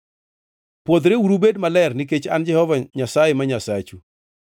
Pwodhreuru ubed maler nikech An e Jehova Nyasaye ma Nyasachu.